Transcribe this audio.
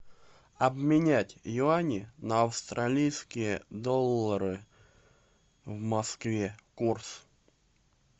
обменять юани на австралийские доллары в москве курс